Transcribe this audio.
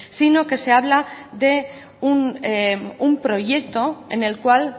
sino que se habla de un proyecto en el cual